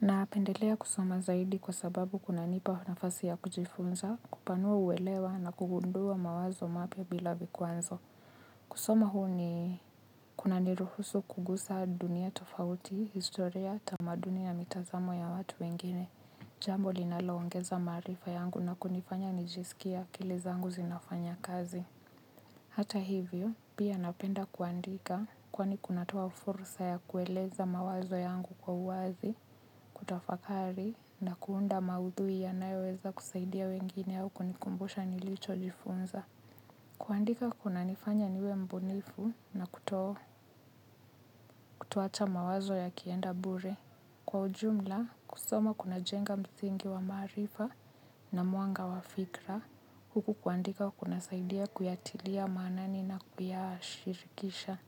Na pendelea kusoma zaidi kwa sababu kuna nipa nafasi ya kujifunza, kupanua uwelewa na kugundua mawazo mapya bila vikwazo. Kusoma huu ni kuna niruhusu kugusa dunia tofauti, historia tamaduni na mitazamo ya watu wengine. Jambo linalo ongeza maarifa yangu na kunifanya nijisikie akili zangu zinafanya kazi. Hata hivyo, pia napenda kuandika kwani kunatua fursa ya kueleza mawazo yangu kwa uwazi, kutafakari, na kuunda maudhui ya nayo weza kusaidia wengine au kunikumbusha nilicho jifunza. Kuandika kuna nifanya niwe mbunifu na kutoacha mawazo ya kienda bure. Kwa ujumla, kusoma kuna jenga msingi wa maarifa na mwanga wa fikra, huku kuandika kuna saidia kuyatilia manani na kuyashirikisha.